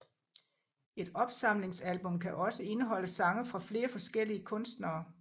Et opsamlingsalbum kan også indeholde sange fra flere forskellige kunstnere